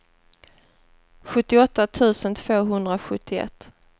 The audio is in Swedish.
sjuttioåtta tusen tvåhundrasjuttioett